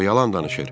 O yalan danışır.